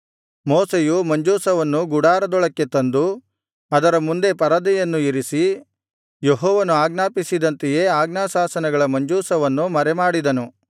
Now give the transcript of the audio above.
ಮೋಶೆಯು ಮಂಜೂಷವನ್ನು ಗುಡಾರದೊಳಕ್ಕೆ ತಂದು ಅದರ ಮುಂದೆ ಪರದೆಯನ್ನು ಇರಿಸಿ ಯೆಹೋವನು ಆಜ್ಞಾಪಿಸಿದಂತೆಯೇ ಆಜ್ಞಾಶಾಸನಗಳ ಮಂಜೂಷವನ್ನು ಮರೆಮಾಡಿದನು